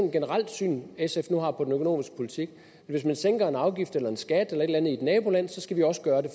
generelt syn sf nu har på den økonomiske politik hvis man sænker en afgift eller en skat eller et eller andet i et naboland så skal vi også gøre det